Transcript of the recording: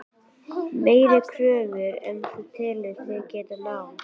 Meiri kröfur en þú telur þig geta náð?